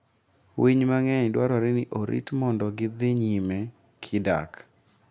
Winy mang'eny dwarore ni orit mondo gi dhi nyime kidak.